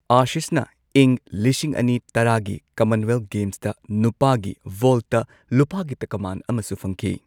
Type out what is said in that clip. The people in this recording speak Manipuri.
ꯑꯥꯁꯤꯁꯅ ꯏꯪ ꯂꯤꯁꯤꯡ ꯑꯅꯤ ꯇꯔꯥꯒꯤ ꯀꯃꯟꯋꯦꯜꯊ ꯒꯦꯝꯁꯇ ꯅꯨꯄꯥꯒꯤ ꯚꯣꯜꯠꯇ, ꯂꯨꯄꯥꯒꯤ ꯇꯀꯃꯥꯟ ꯑꯃꯁꯨ ꯐꯪꯈꯤ꯫